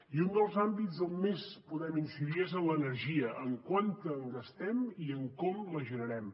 i un dels àmbits en què més podem incidir és en l’energia en quanta en gastem i com la generem